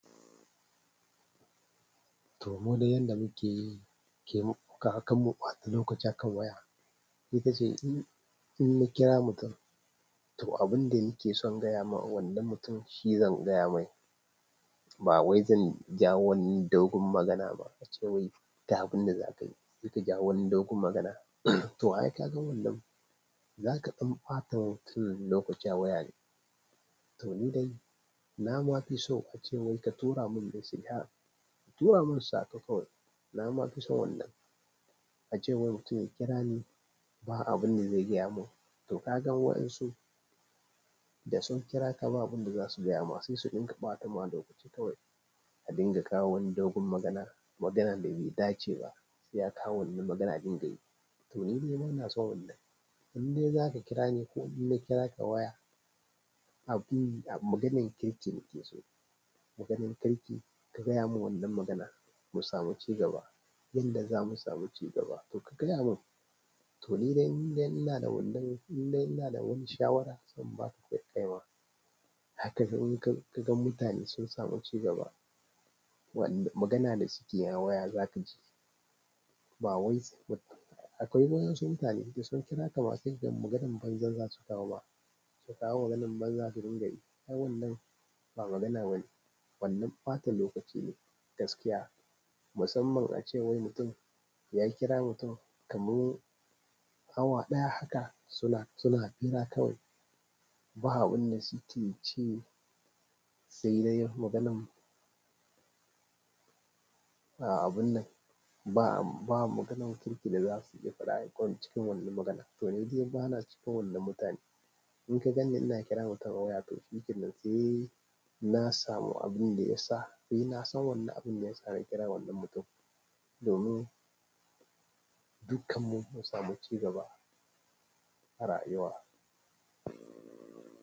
To, mu de yadda muke yi, ke muka a kan muɓata lokaci akan waya, ita ce in, in na kira mutum to abin da nake son gaya wa wannan mutum shi zan gaya mai. Ba wai zan jawo wani dogon magana ba ace wai da abun da za ka yi, sai ka jawo wani dogon magana. To, ai ka ga wannan, za ka ɗan ɓata mutum lokaci a waya ne. To, ni dai na ma fi so ace wai ka tura mun message, ka tura mun saƙo kawai. Na ma fi son wannan. Ace wai mutum ya kira ni, ba abin da zai gaya mun. To ka gan waɗansu da sun kira ka, ba abin da za su gaya ma sai su ɗinka ɓata ma lokaci kawai, ka dinga kawo wani dogon magana, maganan da bai dace ba sai akawo wannan magana ɗin dai. To nide ina son in dai za ka kira ni ko in na kira ka a waya, a yi a maganan kirki nake so. Maganan kirki, ka gaya mun wannan magana, mu samu cigaba. Yanda za mu samu cigaba to ka gaya mun. To, ni dai inda ina da wannan, inda ina da wani shawara zan ba ka kai kaima. Haka ka gan ka gan mutane sun samu cigaba, wanda magana da suke yi a waya zaka ji. Ba wai sai mutum, akwai wasu mutane da sun kira ka masu jin maganan banza za su kawo ma. Su kawo maganan banza su dinga yi. Wannan ba magana bane, wannan ɓatan lokaci ne gaskiya. Musamman ace wai mutum ya kira mutum kamar awa ɗaya haka suna, suna hira kawai. Ba abun da suke yi ce sai dai maganan. Ba abun nan, ba, ba maganan kirki da za su iya fara yi ko cikin wannan magana. To nide bana cikin wannan mutanen in ka ganni ina kira mutum a waya to shi kiran na samu abin da ya sa, sai na san wannan abin da ya sa na kira wannan mutum. Domin dukkanmu mu samu cigaba a rayuwa.